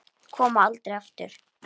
Koma aldrei aftur.